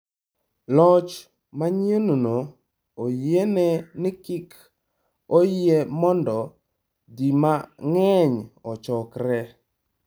Loch manyienno oyiene ni kik oyie mondo ji mang’eny ochokore.